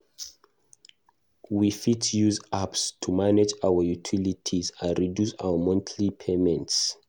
We fit use apps to manage our utilities and reduce our monthly payments.